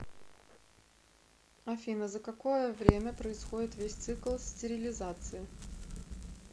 афина за какое время происходит весь цикл стерилизации